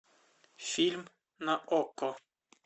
фильм на окко